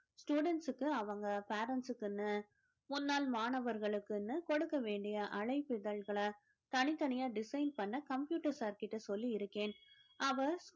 students க்கு அவங்க parents க்குன்னு முன்னாள் மாணவர்களுக்குன்னு கொடுக்க வேண்டிய அழைப்பிதழ்களை தனித்தனியா design பண்ண computer sir கிட்ட சொல்லி இருக்கேன் அவர்